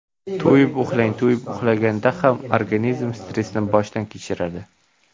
To‘yib uxlang To‘yib uxlamaganda organizm stressni boshdan kechiradi.